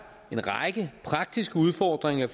en række praktiske udfordringer